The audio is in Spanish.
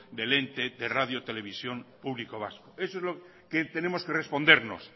del ente de radio televisión pública vasca eso es lo que tenemos que respondernos